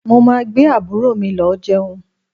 Mo máa gbé àbúrò mi lọ jẹun